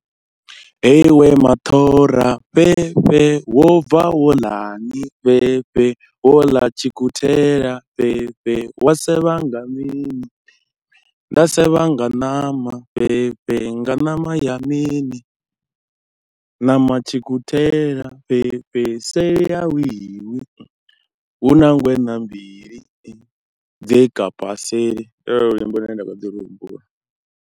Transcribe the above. Hei iwe maṱhora fhefhe, wo bva wo ḽa ni fhefhe, wo ḽa tshikhuthela fhefhe, wa sevha nga mini, nda sevha nga ṋama fhefhe, nga ṋama ya mini, ṋama tshikhuthela fhefhe, seli a hu welwi, hu na ngweṋa mbili, dze kapa seli, ndi lone luimbo lune nda kha ḓi lu humbula.